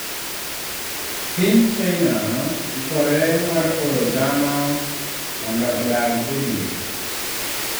Piny China ikore mar oro dhano mondo odag e dwe